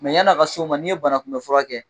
Mɛ yan'a ka s'o ma, n'i ye banakunbɛ furakɛ kɛ